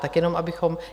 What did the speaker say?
Tak jenom, abychom...